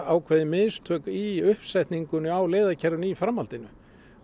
ákveðin mistök í uppsetningunni á leiðakerfinu í framhaldinu